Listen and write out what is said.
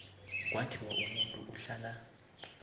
kwathiwa umuntu uhlala